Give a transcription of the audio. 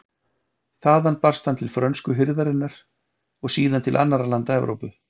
Þaðan barst hann til frönsku hirðarinnar og síðan til annarra landa Evrópu.